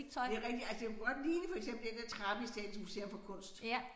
Det rigtigt altså det kunne godt ligne for eksempel den der trappe i Statens Museum for Kunst